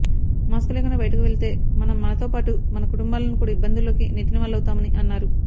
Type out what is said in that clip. mask లేకుండా బయటకు వెళితే మనం మనతో పాటు మన కుటుంబాలను కూడా ఇబ్బందుల్లోకి నెట్టినవాళ్లమవుతామని అన్నారు